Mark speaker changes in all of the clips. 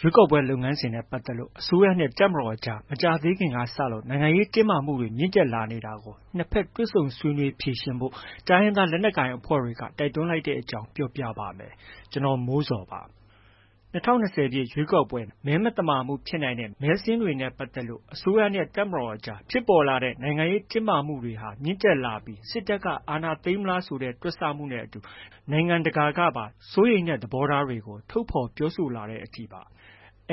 Speaker 1: ရွေးကောက်ပွဲ လုပ်ငန်းစဉ်နဲ့ ပတ်သက်လို့ အစိုးရနဲ့ တပ်မတော်အကြား မကြာသေးခင်ကစလို့ နိုင်ငံရေးတင်းမာမှုတွေ မြင့်တက်လာနေတာကို နှစ်ဘက် တွေ့ဆုံဆွေးနွေး ဖြေရှင်းဖို့ တိုင်းရင်းသားလက်နက်ကိုင် အဖွဲ့တွေက တိုက်တွန်းလိုက်တဲ့အကြောင်းကို ဗွီအိုအေမြန်မာပိုင်း သတင်းထောက် ကိုမိုးဇော်က ပြောပြပါမယ်။ ၂၀၂၀ ပြည့် ရွေးကောက်ပွဲ မဲမသမာမှုဖြစ်နိုင်တဲ့ မဲစာရင်းတွေနဲ့ပတ်သက်လို့ အစိုးရနဲ့ တပ်မတော်အကြား ဖြစ်ပေါ်လာတဲ့ နိုင်ငံရေးတင်းမာမှုတွေ မြင့်တက်လာပြီး စစ်တပ်က အာဏာသိမ်းမလားဆိုတဲ့ တွက်ဆမှုတွေနဲ့အတူ နိုင်ငံတကာကပါ စိုးရိမ်တဲ့ သဘောထားတွေကို ထုတ်ဖော်ပြောဆိုလာတဲ့အထိပါ။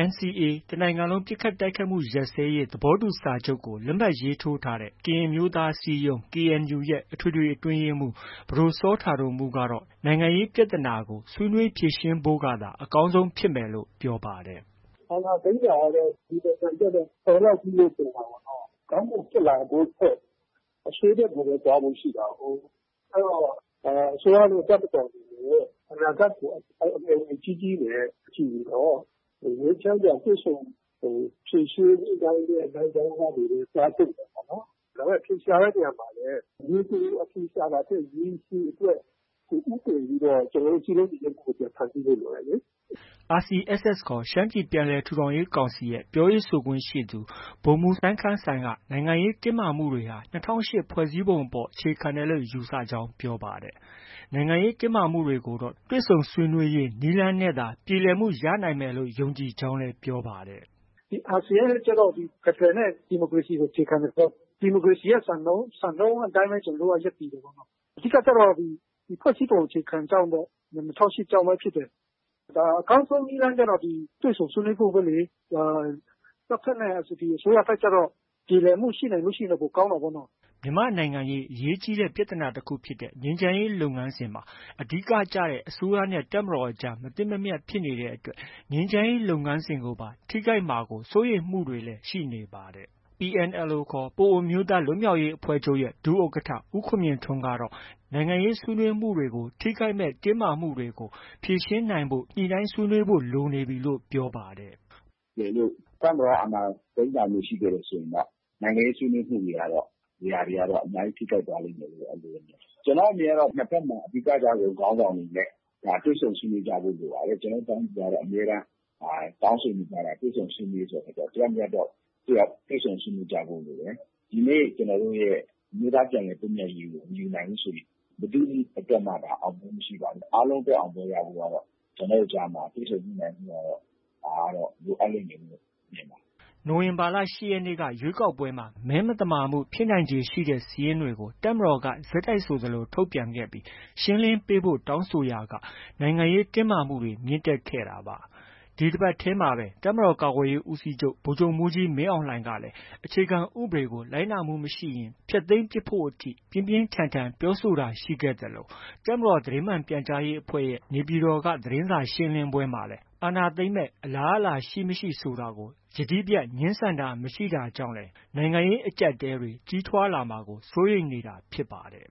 Speaker 1: NCA တစ်နိုင်ငံလုံးပစ်ခတ်တိုက်ခိုက်မှု ရပ်စဲရေးစာချုပ်ကို လက်မှတ်ရေးထိုးထားတဲ့ ကရင်အမျိုးသားအစည်းအရုံး KNU ရဲ့ အထွေထွေအတွင်းရေးမှူး ပဒိုစောတာဒိုမှုးကတော့ နိုင်ငံရေးပြဿနာကို ဆွေးနွေးဖြေရှင်းဖို့ကသာ အကောင်းဆုံးဖြစ်မယ်လို့ ပြောပါတယ်။ “
Speaker 2: အာဏာသိမ်းတာကတော့ ဒီနိုင်ငံအတွက်တော့ တော်လောက်ပြီလို့ ထင်ပါတယ်။ ကောင်းဖို့ ဖြစ်လာဖို့ထက် အဆိုးဘက်ကိုပဲ သွားဖို့ ရှိတာကိုး။ အဲဒီတော့ အစိုးရနဲ့ တပ်မတော်အနေနဲ့ အနာဂတ်ကို အမျှော်အမြင်ကြီးကြီးနဲ့ ကြည့်ပြီးတော့ ငြိမ်းချမ်းစွာ တွေ့ဆုံဖြေရှင်းသွားတဲ့ လမ်းကြောင်းကနေပဲ သွားသင့်တယ်ပေါ့နော်။ အဖြေရှာတဲ့ နေရာမှာလည်း ရေတိုအဖြေရှာတာထက် ရေရှည်အတွက် ဦးတည်ပြီးတော့ ကျနော်တို့ စည်းလုံးညီညွှတ်မှုကို ပြန်ဖန်တီးဖို့ လိုတယ်လေ။
Speaker 1: ” RCSS ခေါ် ရှမ်းပြည်ပြန်လည်ထူထောင်ရေးကောင်စီရဲ့ ပြောရေးဆိုခွင့်ရှိသူ ဗိုလ်မှူးစိုင်းခမ်းကတော့ နိုင်ငံရေးတင်းမာမှုတွေဟာ ၂၀၀၈ ခုနှစ် ဖွဲ့စည်းပုံအပေါ် အခြေခံတယ်လို့ ယူဆကြောင်း ပြောပါတယ်။ နိုင်ငံရေးတင်းမာမှုတွေကိုတော့ တွေ့ဆုံဆွေးနွေးရေး နည်းလမ်းနဲ့သာ ပြေလည်မှုရနိုင်မယ်လို့ ယုံကြည်ကြောင်းလည်း ပြောပါတယ်
Speaker 2: ။ “RCSS အနေနဲ့ ဖက်ဒရယ်နဲ့ ဒီမိုကရေစီကို အခြေခံတယ်ဆိုတော့ ဒီမိုကရေစီရဲ့ စံနှုန်းအတိုင်းပဲ ကျနော်တို့က ရပ်တည်တယ်။ အဓိကကျတော့ ဖွဲ့စည်းပုံအခြေခံကြောင့်ပေါ့။ ၂၀၀၈ ကြောင့်ပဲ ဖြစ်တယ်။ အကောင်းဆုံး နည်းလမ်းကျတော့ တွေ့ဆုံဆွေးနွေးဖို့ပဲလေ။ တပ်ဘက်နဲ့အတူတူ အစိုးရဘက်ကျတော့ ပြေလည်မှုရှိနိုင်ရင် ပိုကောင်းတာပေါ့နော်။”
Speaker 1: မြန်မာ့နိုင်ငံရေး အရေးကြီးတဲ့ ပြဿနာတခုဖြစ်တဲ့ ငြိမ်းချမ်းရေး လုပ်ငန်းစဉ်မှာ အဓိကကျတဲ့ အစိုးရနဲ့ တပ်မတော်ကြား မသင့်မမြတ် ဖြစ်နေတဲ့အတွက် ငြိမ်းချမ်းရေး လုပ်ငန်းစဉ်ကိုပါ ထိခိုက်မှာ စိုးရိမ်မှုတွေလည်း ရှိနေပါတယ်။ PNLO ခေါ် ပအိုဝ်းအမျိုးသားလွတ်မြောက်ရေးအဖွဲ့ချုပ် ဒုဥက္ကဋ္ဌ ဦးခွန်မြင့်ထွန်းကတော့ နိုင်ငံရေးဆွေးနွေးမှုတွေကို ထိခိုက်နိုင်မယ့် တင်းမာမှုတွေကို ဖြေရှင်းနိုင်အောင် ညှိနှိုင်းဖို့လိုနေပြီလို့ ပြောပါတယ်။
Speaker 3: “တကယ်လို့ တပ်မတော်က အာဏာသိမ်းတာမျိုး ရှိခဲ့တယ်ဆိုရင်တော့ နိုင်ငံရေးဆွေးနွေးမှုတွေကတော့ အများကြီး ထိခိုက်သွားလိမ့်မယ်... အဲဒီလိုတော့ မြင်ပါတယ်။ ကျနော့်အမြင်ကတော့ နှစ်ဘက်မှာ အဓိက ကျတဲ့ခေါင်းဆောင်တွေနဲ့ တွေ့ဆုံဆွေးနွေးကြဖို့ လိုပါတယ်။ ကျနော်တို့ တိုင်းပြည်ကတော့ အမြဲတမ်း တောင်းဆိုနေကြတာက တွေ့ဆုံဆွေးနွေးရေးဆိုတဲ့အခါကျတော့ တစ်ယောက်နဲ့ တစ်ယောက် တွေ့ဆုံဆွေးနွေးကြဖို့ လိုတယ်။ ဒီနေ့ ကျနော်တို့ရဲ့ အမျိုးသားပြန်လည်သင့်မြတ်ရေးကို မယူနိုင်ဘူးဆိုရင် ဘယ်သူ့အတွက်မှ အောင်မြင်မှု မရှိနိုင်ဘူး။ အားလုံးအတွက် အောင်ပွဲ ရဖို့ကတော့ ကျနော်တို့ကြားမှာ တွေ့ဆုံညှိနှိုင်းမှုကတ
Speaker 1: ော့ လိုအပ်လိမ့်မယ်လို့ မြင်တယ်။ ” နိုဝင်ဘာလ ၈ ရက်နေ့က ရွေးကောက်ပွဲမှာ မဲမသမာမှုဖြစ်နိုင်ခြေရှိတဲ့ စာရင်းတွေကို တပ်မတော်က ဆက်တိုက်ဆိုသလို ထုတ်ပြန်ခဲ့ပြီး ရှင်းလင်းပေးဖို့ တောင်းဆိုရာက နိုင်ငံရေးတင်းမာမှုတွေ မြင့်တက်ခဲ့တာပါ။ ဒီတပတ်ထဲမှာပဲ တပ်မတော်ကာကွယ်ရေးဦးစီးချုပ် ဗိုလ်ချုပ်မှူးကြီးမင်းအောင်လှိုင်ကလည်း အခြေခံဥပဒေကို လိုက်နာမှု မရှိရင် ဖျက်သိမ်းပစ်ဖို့အထိ ပြင်းပြင်းထန်ထန် ပြောဆိုတာရှိခဲ့သလို တပ်မတော်သတင်းမှန် ပြန်ကြားရေးအဖွဲ့ရဲ့ နေပြည်တော်က သတင်းစာရှင်းလင်းပွဲမှာလည်း အာဏာသိမ်းမယ့် အလားအလာရှိ၊ မရှိ ဆိုတာကို ယတိပြတ် ငြင်းဆန်တာ မရှိခဲ့တာကြောင့်လည်း နိုင်ငံရေး အကြပ်အတည်းတွေ ကြီးထွားလာမှာကို စိုးရိမ်နေတာဖြစ်ပါတယ်